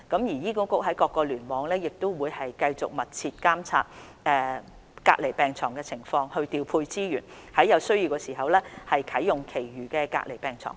醫管局各聯網會繼續密切監察隔離病床的情況，調配資源，在有需要時啟用其餘隔離病床。